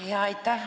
Aitäh!